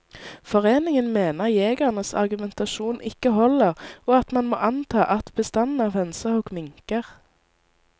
Foreningen mener jegernes argumentasjon ikke holder, og at man må anta at bestanden av hønsehauk minker.